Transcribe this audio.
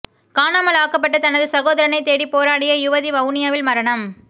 காணாமல் ஆக்கப்பட்ட தனது சகோதரனைத் தேடி போராடிய யுவதி வவுனியாவில் மரணம்